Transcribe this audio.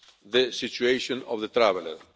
the situation of the traveller.